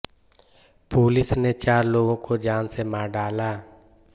police ने चार लोगों को जान से मार डाला